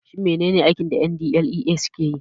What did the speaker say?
Shin menene aikin da NDLEA suke yi?